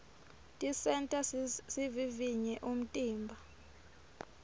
tisenta sivivivye umtimba